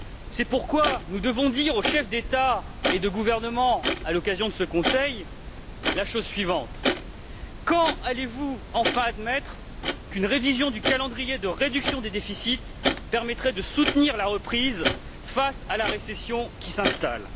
C'est pourquoi nous devons dire aux chefs d'État et de gouvernement, à l'occasion de ce Conseil, la chose suivante quand allez vous enfin admettre qu'une révision du calendrier de réduction des déficits permettrait de soutenir la reprise face à la récession qui s'installe?